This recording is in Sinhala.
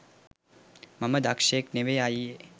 මම දක්ෂයෙක් නෙවෙයි අයියේ